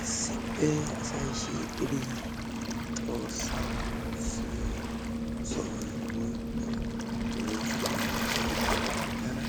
Issippe asay shiiqidi xoossaa woossiiyo sohoy woykko woosa keettay tana